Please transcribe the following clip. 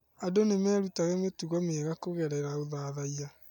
Andũ nĩ merutaga mĩtugo mĩega kũgerera ũthathiya.